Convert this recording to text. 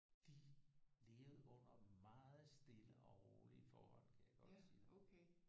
De levede under meget stille og rolige forhold kan jeg godt sige dig